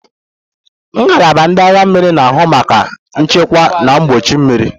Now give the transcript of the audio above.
Ngalaba ndị agha mmiri na-ahụ maka nchekwa na mgbuchi mmiri.